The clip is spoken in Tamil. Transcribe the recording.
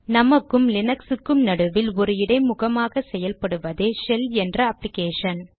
நமக்கும் லீனக்ஸுக்கும் நடுவில் ஒரு இடைமுகமாக செயல்படுவதே ஷெல் என்ற அப்ளிகேஷன்